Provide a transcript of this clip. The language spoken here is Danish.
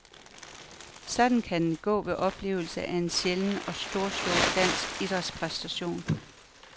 Sådan kan det gå ved oplevelsen af en sjælden og storslået dansk idrætspræstation.